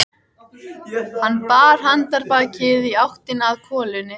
Hann bar handarbakið í áttina að kolunni.